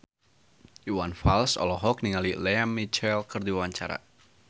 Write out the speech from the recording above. Iwan Fals olohok ningali Lea Michele keur diwawancara